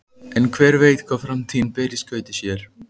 En hver veit hvað framtíðin ber í skauti sér?